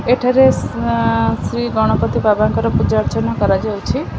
ଏଠାରେ ସାଁ ଶ୍ରୀ ଗଣପତି ବାବାଙ୍କର ପୂଜା ଅର୍ଚ୍ଚନା କରାଯାଉଛି।